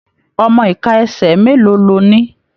Ọmọ ika ẹsẹ mélòó lọ ní?